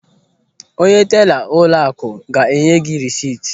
Onye tela ụlọakụ ga-enye gị rịsịt.